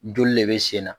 Joli de bɛ sen na